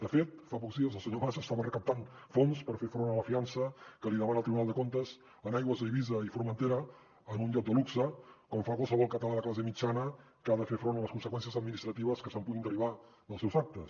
de fet fa pocs dies el senyor mas estava recaptant fons per fer front a la fiança que li demana el tribunal de comptes en aigües d’eivissa i formentera en un iot de luxe com fa qualsevol català de classe mitjana que ha de fer front a les conseqüències administratives que es puguin derivar dels seus actes